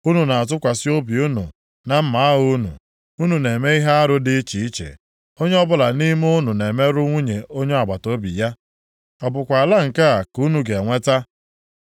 Unu na-atụkwasị obi unu na mma agha unu, unu na-eme ihe arụ dị iche iche, onye ọbụla nʼime unu na-emerụ nwunye onye agbataobi ya. Ọ bụkwa ala nke a ka unu ga-enweta?’